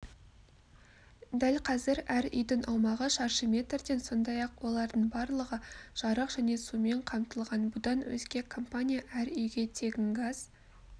дәл қазір әр үйдің аумағы шаршы метрден сондай-ақ олардың барлығы жарық және сумен қамтылған бұдан өзге компания әр үйге тегін газ